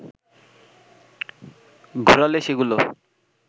ঘোরালে সেগুলো